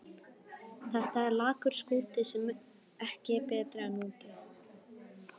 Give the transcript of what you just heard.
Það er lakur skúti sem ekki er betri en úti.